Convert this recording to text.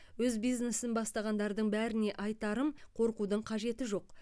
өз бизнесін бастағандардың бәріне айтарым қорқудың қажеті жоқ